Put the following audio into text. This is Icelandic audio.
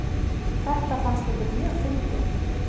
Þetta fannst ykkur mjög fyndið.